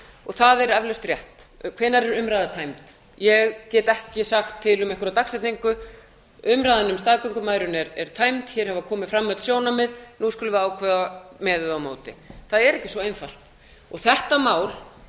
og það er eflaust rétt hvenær er umræða tæmd ég get ekki sagt til um einhverja dagsetningu umræðan um staðgöngumæðrun er tæmd hér hafa komið fram öll sjónarmið nú skulum við ákveða með eða á móti það er ekki svo einfalt þetta mál